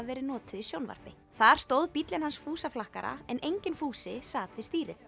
verið notuð í sjónvarpi þar stóð bíllinn hans fúsa flakkara en enginn Fúsi sat við stýrið